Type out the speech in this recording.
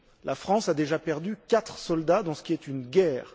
La France a déjà perdu quatre soldats dans ce qui est une guerre.